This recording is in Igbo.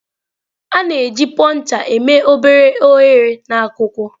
A na-eji Puncher eme obere oghere na akwụkwọ.